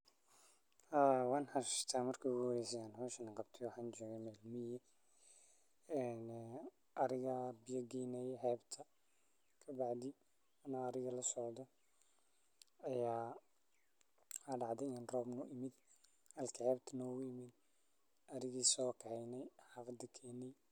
Haa wan xassa ta marki igu horeyse an qabto hoshan waxan joge meel miguga ah ariga ayan biya geynaye ani ariga lasocdo aya maxaa dacde rob in u imid ariga so kaxeyne.